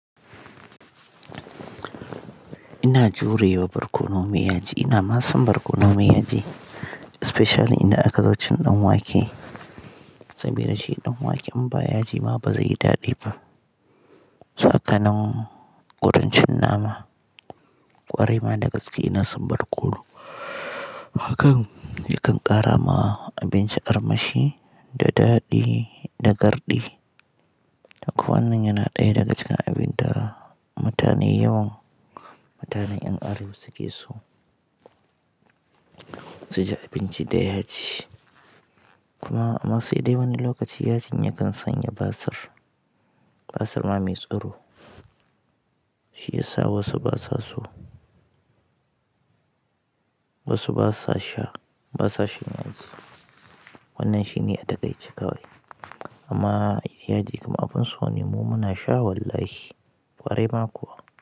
Ina jurewa barkono mai yaji. Ina masan barkono mai yaji, especially idan aka zo cin ɗan wake. Saboda shi ɗan wake in ba yaji ma ba zai yi daɗi ba. Hakanan wurin cin nama ƙwarai ma da gaske ina son barkono. Hakan yakan ƙara ma abinci armashi da daɗi da garɗi. Ko wannan yana ɗaya daga cikin abin da mutane yawan, mutane ƴan arewa suke so su ji abinci da ya ji. Kuma ma sai dai wani lokaci yajin yakan sanya basir, basir ma mai tsiro. Shiyasa wasu basa so wasu basa sha basa shan yaji. Wannan shine a takaice kawai amma yaji kuma abin so ne mu muna sha wallahi ƙwarai ma kuwa.